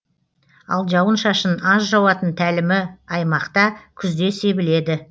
ал жауын шашын аз жауатын тәлімі аймақта күзде себіледі